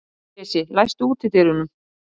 Bresi, læstu útidyrunum.